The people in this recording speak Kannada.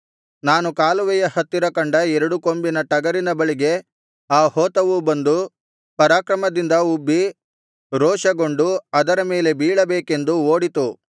ನಾನು ಕಾಲುವೆಯ ಹತ್ತಿರ ಕಂಡ ಎರಡು ಕೊಂಬಿನ ಟಗರಿನ ಬಳಿಗೆ ಆ ಹೋತವು ಬಂದು ಪರಾಕ್ರಮದಿಂದ ಉಬ್ಬಿ ರೋಷಗೊಂಡು ಅದರ ಮೇಲೆ ಬೀಳಬೇಕೆಂದು ಓಡಿತು